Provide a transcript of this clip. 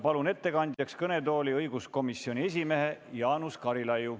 Palun ettekandeks kõnetooli õiguskomisjoni esimehe Jaanus Karilaiu.